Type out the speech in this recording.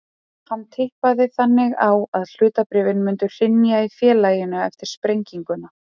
Hann tippaði þannig á að hlutabréfin myndu hrynja í félaginu eftir sprenginguna.